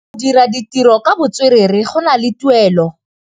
Go dira ditirô ka botswerere go na le tuelô.